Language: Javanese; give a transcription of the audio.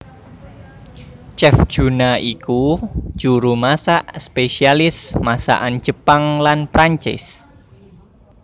Chef Juna iku juru masak spesialis masakan Jepang lan Prancis